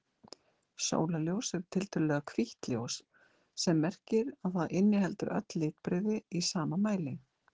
Sólarljós er tiltölulega hvítt ljós sem merkir að það inniheldur öll litbrigði í sama mæli.